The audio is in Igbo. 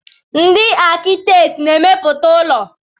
Ndị akitẹkti na-emepụta ụlọ.